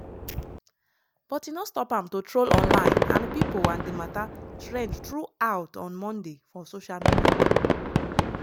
but e no stop am to troll online and pipo and di mata trend throughout on monday for social media.